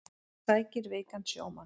Sækir veikan sjómann